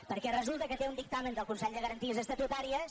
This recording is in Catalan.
perquè resulta que té un dictamen del consell de garanties estatutàries